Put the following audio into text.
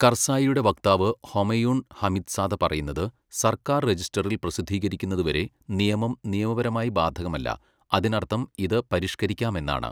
കർസായിയുടെ വക്താവ് Homayun Hamidzada പറയുന്നത്, സർക്കാർ രജിസ്റ്ററിൽ പ്രസിദ്ധീകരിക്കുന്നതുവരെ നിയമം നിയമപരമായി ബാധകമല്ല, അതിനർത്ഥം ഇത് പരിഷ്കരിക്കാമെന്നാണ്.